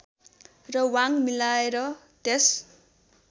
र वाङ मिलाएर त्यस